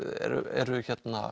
eru eru